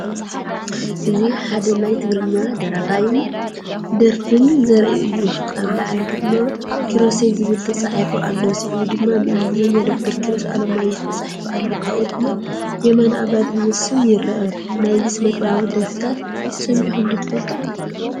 እዚ ሓደ ናይ ትግርኛ ደራፋይን ደረፍን ዘርኢ እዩ። ኣብ ላዕሊ ድማ "ኪሮሰይ" ዝብል ተጻሒፉ ኣሎ፣ ስዒቡ ድማ ብእንግሊዝኛ “ዶ/ር ኪሮስ ኣለማዮህ” ተጻሒፉ ኣሎ። ካብኡ ድማ “የማነ ኣባዲ” ዝብል ስም ይርአ። ናይዚ ስነጥበባዊ ደርፍታት ሰሚዕኩም ዶ ትፈልጡ?